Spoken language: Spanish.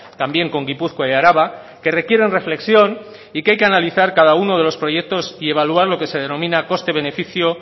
también con gipuzkoa y araba que requieren reflexión y que hay que analizar cada uno de los proyectos y evaluar lo que se denomina coste beneficio